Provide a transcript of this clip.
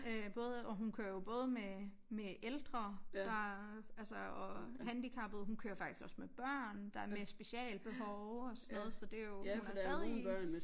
Øh både og hun kører jo både med med ældre der altså og handicappede hun kører faktisk også med børn der med specialbehov og sådan noget så det jo hun er stadig